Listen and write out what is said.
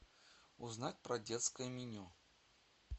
узнать про детское меню